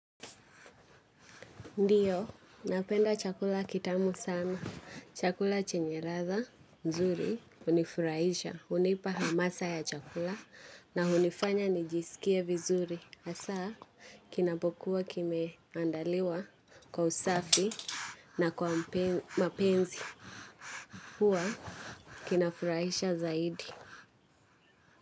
Ndio, napenda chakula kitamu sana. Chakula chenye ladha nzuri, hunifurahisha. Hunipa hamasa ya chakula na hunifanya nijisikie vizuri. Hasa, kinapokuwa kimeandaliwa kwa usafi na kwa mapenzi. Huwa, kinafurahisha zaidi.